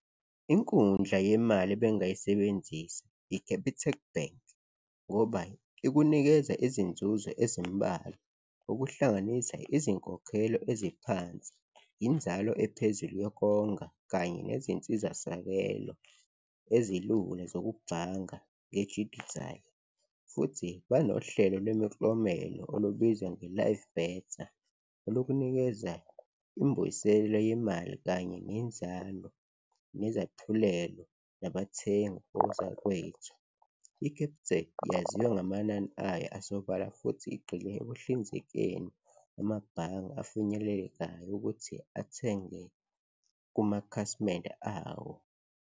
Inkundla yemali ebengingayisebenzisa i-Capitec Bank ngoba ikunikeza izinzuzo ezimbalwa, okuhlanganisa izinkokhelo eziphansi, inzalo ephezulu yokonga kanye nezinsizasakelo ezilula zokubhanga ngejidithali futhi banohlelo lemiklomelo olubizwa nge-Live Better, olukunikeza imbuyiselo yemali kanye nenzalo nezaphulelo nabathengi, ozakwethu. I-Capitec yaziwa ngamanani ayo asobala futhi igqile ekuhlinzekeni amabhange afinyelekayo ukuthi athenge kumakhasimende awo.